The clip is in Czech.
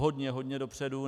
Hodně, hodně dopředu.